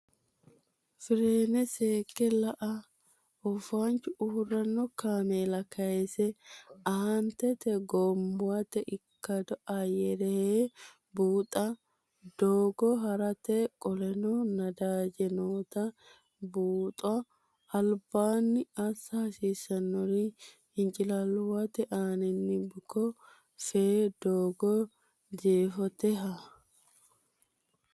fireene seekke la a Oofaanchu uurrino kaameela kayise Aantete Gommuwate ikkado ayyare hee buuxa doogo ha rate Qoleno Nadaaje noota buuxa albaanni assa hasiissannori Hincilaalluwate aaninni buko fee doogo Jeefote ha.